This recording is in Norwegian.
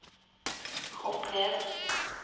hopp ned